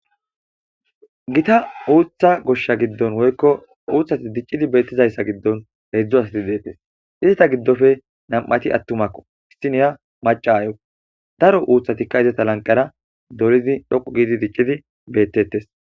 Gita uuththa goshsha giddon woykko uuthati diccidi beettizayssa giddon heedzdzo asati deettes. izata giddofe nam"ati attumakko isiniya maca ayo daro uuthatikka izata lanqara dolidi dhoqu giidi diccidi beettetes